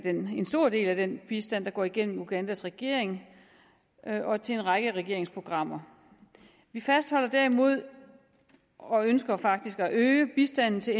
en stor del af den bistand går igennem ugandas regering og til en række regeringsprogrammer vi fastholder derimod og ønsker faktisk at øge bistanden til